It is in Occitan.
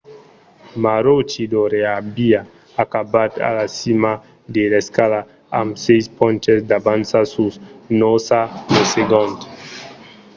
maroochydore aviá acabat a la cima de l'escala amb sièis ponches d'avança sus noosa lo segond